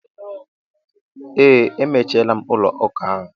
Ee, emechiela ụlọ ụka ahụ.